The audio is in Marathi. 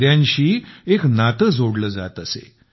नद्यांशी एक नाते जोडले जात असे